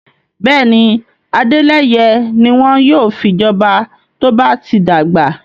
Bẹ́ẹ̀ni, Adeleye ni won yóò fi joba to ba ti dagba